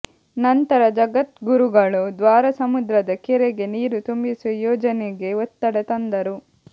ನಂತರ ಜಗದ್ಗುರುಗಳು ದ್ವಾರಸಮುದ್ರದ ಕೆರೆಗೆ ನೀರು ತುಂಬಿಸುವ ಯೋಜನೆಗೆ ಒತ್ತಡ ತಂದರು